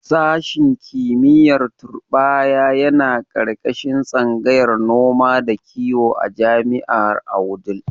Sashen kimiyyar turɓaya yana ƙarƙashin tsangayar noma da kiwo a jami'ar a Wudil.